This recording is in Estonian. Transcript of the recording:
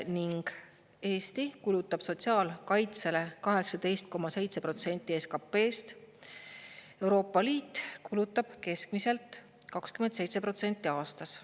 Ning Eesti kulutab sotsiaalkaitsele 18,7% SKP-st, Euroopa Liit kulutab keskmiselt 27% aastas.